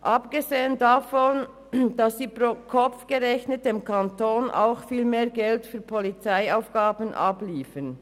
Abgesehen davon bezahlen sie dem Kanton pro Kopf gerechnet für Polizeiaufgaben auch viel mehr.